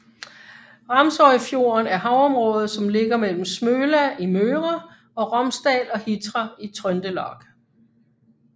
Ramsøyfjorden er havområdet som ligger mellem Smøla i Møre og Romsdal og Hitra i Trøndelag